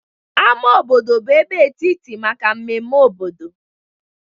Ámá obodo bụ ebe etiti maka mmemme obodo.